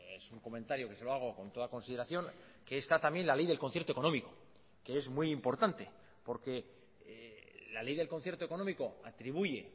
es un comentario que se lo hago con toda consideración que está también la ley del concierto económico que es muy importante porque la ley del concierto económico atribuye